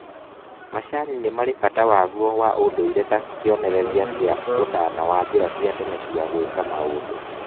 Macani nĩmarĩ bata waguo wa ũndũire ta kĩonereria kia ũtana na njĩra cia tene cia gwĩka maũndũ